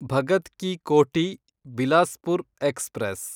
Bhagat Ki Kothi Bilaspur express